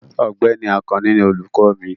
Ọ̀gbẹ́ni Àkànní ní olùkọ mi.